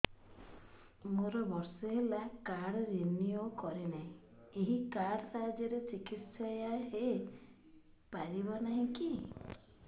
ମୋର ବର୍ଷେ ହେଲା କାର୍ଡ ରିନିଓ କରିନାହିଁ ଏହି କାର୍ଡ ସାହାଯ୍ୟରେ ଚିକିସୟା ହୈ ପାରିବନାହିଁ କି